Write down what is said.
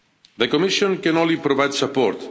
The Commission can only provide support.